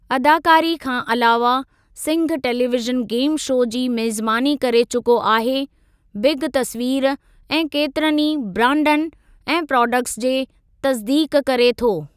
अदाकारी खां अलावा सिंघ टेलीवीज़न गेम शो जी मेज़बानी करे चुको आहे बिग तस्वीर ऐं केतिरनि ई ब्रांडन ऐं प्रोडक्टस जे तसिदीक़ करे थो।